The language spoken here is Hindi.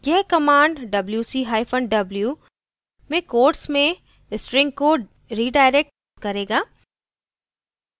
यह command wc hyphen w में quotes में string को redirect अनुप्रेषित करेगा